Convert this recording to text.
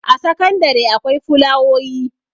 a sakandare akwai fulawoyi